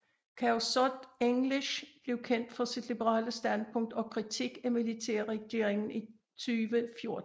Khaosod English blev kendt for sit liberale standpunkt og kritik af militærregeringen i 2014